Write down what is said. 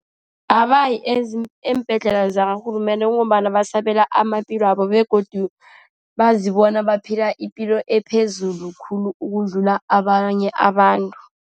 Abayi eembhedlela zakarhulumende ngombana basabela amaphilo wabo. Begodu bazibona baphila ipilo ephezulu khulu, ukudlula abanye abantu.